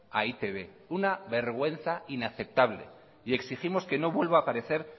a e i te be una vergüenza inaceptable exigimos que no vuelva a aparecer